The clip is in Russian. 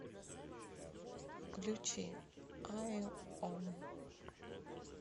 включи аи ом